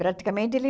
Praticamente, ele...